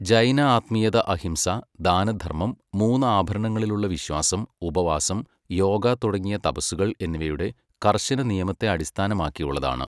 ജൈന ആത്മീയത അഹിംസ, ദാനധർമ്മം, മൂന്ന് ആഭരണങ്ങളിലുള്ള വിശ്വാസം, ഉപവാസം, യോഗ തുടങ്ങിയ തപസ്സുകൾ എന്നിവയുടെ കർശന നിയമത്തെ അടിസ്ഥാനമാക്കിയുള്ളതാണ്.